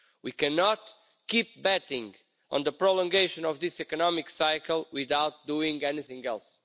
We cannot keep betting on the prolongation of this economic cycle without doing anything else.